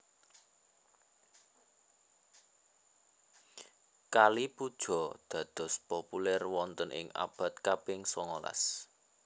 Kali Puja dados populèr wonten ing abad kaping songolas